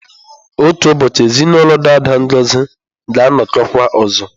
Otu ụbọchị, ezinụlọ daada Ngozi ga-anọkọkwa ọzọ.